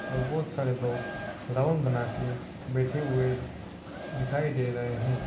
और बहुत सारे लोग राउंड बना के बैठे हुए दिखाई दे रहे हैं।